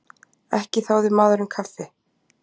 Ekki þáði maðurinn kaffi.